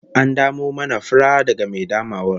An damo mana furar daga mai damawar?